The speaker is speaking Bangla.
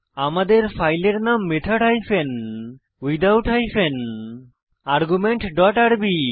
আমাদের ফাইলের নাম method hyphen without hyphen argument dot আরবি